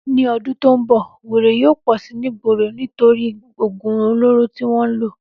Ní o̩dún tó n bò̩, wèrè yóò pò̩ si nígboro nítorí ògùn olóró tí wó̩n ń lò